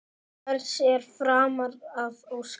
Hvers er framar að óska?